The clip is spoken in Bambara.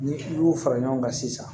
Ni i y'u fara ɲɔgɔn kan sisan